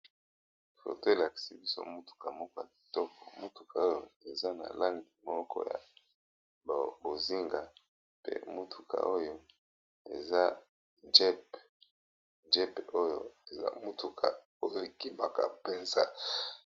Foto oyo elakisi biso mutuka moko ya kitoko mutuka oyo eza na langi moko ya bozinga pe mutuka oyo eza jeep, jeep oyo eza motuka oyo ekimaka Penza.